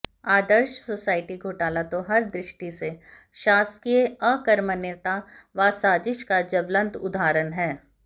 आदर्श society घोटाला तो हर दृष्टि से शासकीय अकर्मण्यता व साजिश का ज्वलंत उदाहरण है